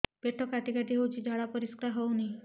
ପେଟ କାଟି କାଟି ହଉଚି ଝାଡା ପରିସ୍କାର ହଉନି